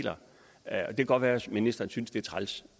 kan godt være at ministeren synes det er træls